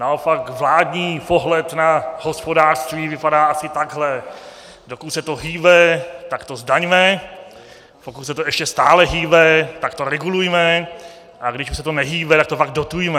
Naopak vládní pohled na hospodářství vypadá asi takhle: Dokud se to hýbe, tak to zdaňme, pokud se to ještě stále hýbe, tak to regulujme, a když už se to nehýbe, tak to pak dotujme.